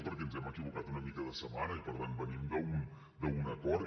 perquè ens hem equivocat una mica de setmana i per tant venim d’un acord